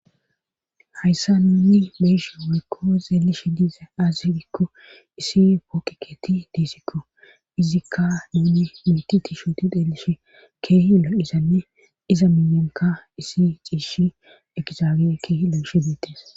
hayssa nuni beyishi wykko zeelish diise azi gikko issi pooqikeeti diisikko izikka nuni miti tishuti deelish keehi lo7izanne iza milyonka isi ciishi ekizaage keehi loo7ish diittes